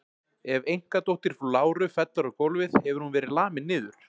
Ef einkadóttir frú Láru fellur á gólfið hefur hún verið lamin niður.